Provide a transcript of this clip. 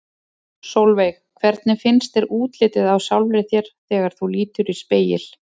Sólveig: Hvernig finnst þér útlitið á sjálfri þér þegar þú lítur í spegil?